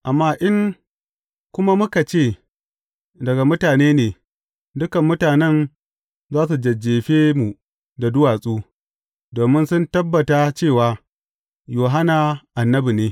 Amma in kuma muka ce, Daga mutane ne,’ dukan mutanen za su jajjefe mu da duwatsu, domin sun tabbata cewa, Yohanna annabi ne.